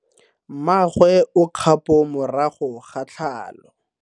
Mmagwe o kgapo morago ga tlhalo.